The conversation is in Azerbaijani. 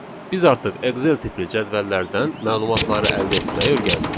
Biz artıq Excel tipli cədvəllərdən məlumatları əldə etməyi öyrəndik.